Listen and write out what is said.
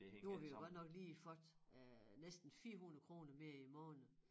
Nu har vi jo godt nok lige fået øh næsten 400 kroner mere i æ måned